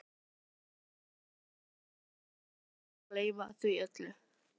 Ég er búinn að fyrirgefa þér og gleyma því öllu